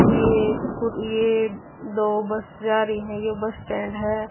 यह दो बस जा रही हैं यह बस स्टैंड है।